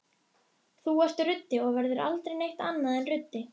Til hvers haldiði eiginlega að hann hafi verið settur þarna?